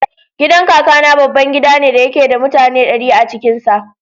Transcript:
Gidan Kakana babban gida ne da yake da mutane ɗari a cikin sa.